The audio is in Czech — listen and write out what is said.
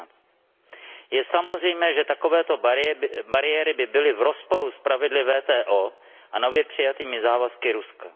16. Je samozřejmé, že takovéto bariéry by byly v rozporu s pravidly WTO a nově přijatými závazky Ruska.